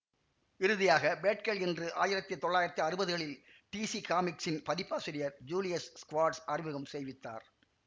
இறுதியாக பேட்கேர்ள் என்று ஆயிரத்தி தொள்ளாயிரத்தி அறுவதுகளில் டிசி காமிக்ஸின் பதிப்பாசிரியர் ஜூலியஸ் ஸ்க்வார்ட்ஸ் அறிமுகம் செய்வித்தார்